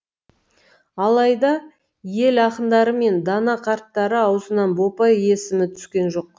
алайда ел ақындары мен дана қарттары аузынан бопай есімі түскен жоқ